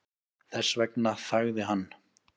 Þess vegna þagði hann.